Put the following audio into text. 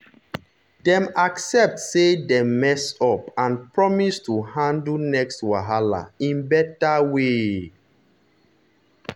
dem accept say dem mess up and promise to handle next wahala in better way.